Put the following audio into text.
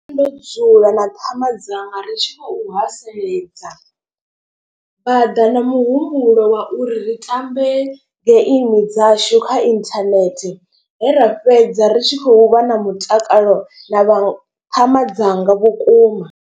Ndo dzula na ṱhama dzanga ri tshi khou haseledza. Vha ḓa na muhumbulo wa uri ri tambe geimi dzashu kha internet. He ra fhedza ri tshi khou vha na mutakalo na vha ṱhama dzanga vhukuma.